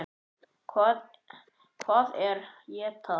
Hvað er ETA?